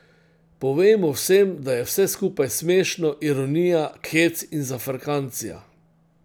Povejmo vsem, da je vse skupaj smešno, ironija, hec in zafrkancija.